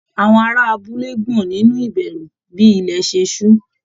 Àwọn ará abúlé gbọ̀n nínú ìbẹ̀rù bí ilẹ̀ ṣe ṣú